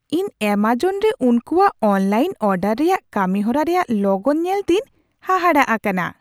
ᱤᱧ ᱮᱢᱟᱡᱚᱱ ᱨᱮ ᱩᱱᱠᱩᱣᱟᱜ ᱚᱱᱞᱟᱭᱤᱱ ᱚᱰᱟᱨ ᱨᱮᱭᱟᱜ ᱠᱟᱹᱢᱤᱦᱚᱨᱟ ᱨᱮᱭᱟᱜ ᱞᱚᱜᱚᱱ ᱧᱮᱞᱛᱮᱧ ᱦᱟᱦᱟᱲᱟᱜ ᱟᱠᱟᱱᱟ ᱾